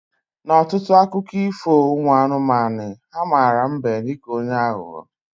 Na ọtụtụ akụkọ ifo ụmụ anụmanụ, ha mara mbe dịka onye aghụghọ